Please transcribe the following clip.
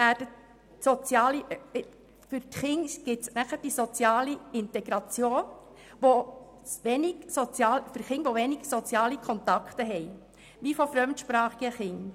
Für die Kinder trägt die Tagesschule zur sozialen Integration bei, insbesondere gilt das für Kinder mit wenigen sozialen Kontakten, wie zum Beispiel fremdsprachige Kinder.